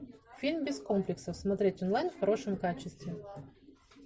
фильм без комплексов смотреть онлайн в хорошем качестве